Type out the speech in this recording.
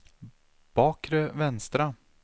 bakre vänstra